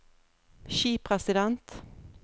skipresident